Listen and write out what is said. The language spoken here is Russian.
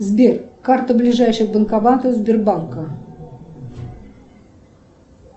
сбер карта ближайших банкоматов сбербанка